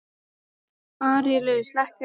Árelíus, lækkaðu í hátalaranum.